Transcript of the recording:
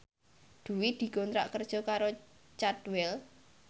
Dwi dikontrak kerja karo Cadwell